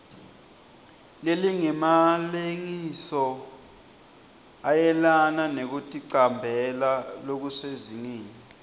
lelingemalengisoisomayelana nekuticambela lokusezingeni